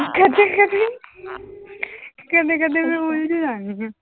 ਕਦੇ ਕਦੇ ਕਦੇ ਕਦੇ ਮੈਂ ਉਲਝ ਜਾਨੀ ਹਾਂ।